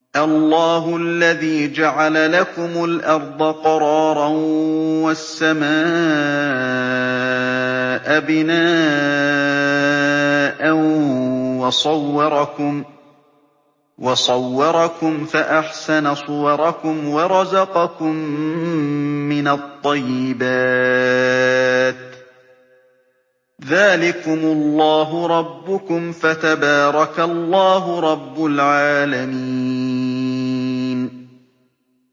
اللَّهُ الَّذِي جَعَلَ لَكُمُ الْأَرْضَ قَرَارًا وَالسَّمَاءَ بِنَاءً وَصَوَّرَكُمْ فَأَحْسَنَ صُوَرَكُمْ وَرَزَقَكُم مِّنَ الطَّيِّبَاتِ ۚ ذَٰلِكُمُ اللَّهُ رَبُّكُمْ ۖ فَتَبَارَكَ اللَّهُ رَبُّ الْعَالَمِينَ